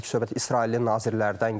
Təbii ki, söhbət İsrailin nazirlərdən gedir.